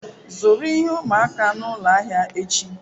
Zụrụ ihe ụmụaka n'ụlọ ahịa echi.